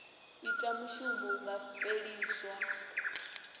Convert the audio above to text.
ita mushumo hu nga fheliswa